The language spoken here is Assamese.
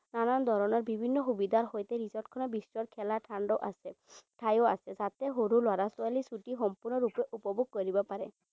নানান ধৰণৰ বিভিন্ন সুবিধাৰ সৈতে resort খনৰ বিস্তৰ খেলা আছে, ঠাইও আছে, যাতে সৰু লৰা ছোৱালীয়ে ছুটী সম্পূৰ্ণৰূপে উপভোগ কৰিব পাৰে।